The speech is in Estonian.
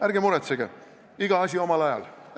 Ärge muretsege, iga asi omal ajal!